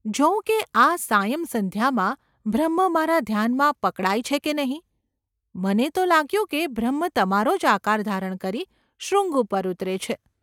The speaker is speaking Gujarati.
જોઉં કે આ સાયં સંધ્યામાં બ્રહ્મ મારા ધ્યાનમાં પકડાય છે કે નહિ ?’ ‘મને, તો લાગ્યું કે બ્રહ્મ તમારો જ આકાર ધારણ કરી શૃંગ ઉપર ઊતરે છે.